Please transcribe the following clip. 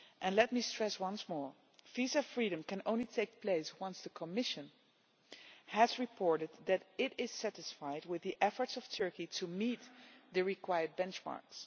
Let me stress once more that visa freedom can only take place once the Commission has reported that it is satisfied with the efforts of Turkey to meet the required benchmarks.